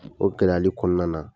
O gɛlɛyali kɔnɔna na